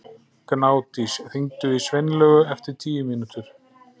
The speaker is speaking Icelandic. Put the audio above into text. Gnádís, hringdu í Sveinlaugu eftir tíu mínútur.